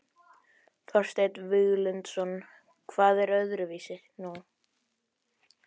Þorsteinn Víglundsson: Hvað er öðruvísi nú?